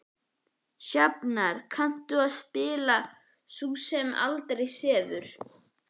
Sjafnar, kanntu að spila lagið „Sú sem aldrei sefur“?